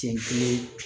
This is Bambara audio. Siɲɛ kelen